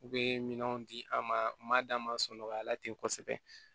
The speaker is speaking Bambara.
U bɛ minɛnw di an ma d'an ma sunɔgɔya la ten kosɛbɛ